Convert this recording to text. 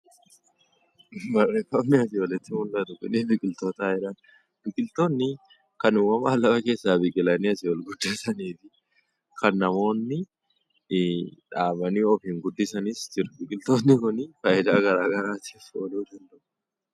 Suurri asiin olitti mul'atu kun biqiltootadha. Biqiltoonni kan uumamaan lafa keessaa biqilanii ol guddatan fi kan namoonni dhaabanii yookiis guddisanii biqiltoonni Kun fayidaa garaagaraatiif ooluu jechuudha.